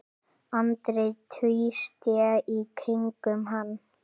Andri tvísté í kringum hann.